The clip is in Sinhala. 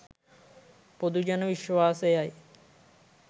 පොදු ජන විශ්වාසයයි.